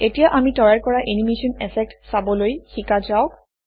এতিয়া আমি তৈয়াৰ কৰা এনিমেচন এফেক্ট চাবলৈ শিকা যাওক